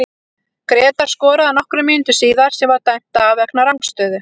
Grétar skoraði nokkrum mínútum síðar sem var dæmt af vegna rangstöðu.